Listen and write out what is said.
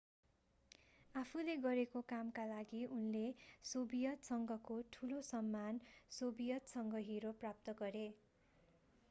आफूले गरेको कामका लागि उनले सोभियत संघको ठुलो सम्मान सोभियत संघ हिरो प्राप्त गरे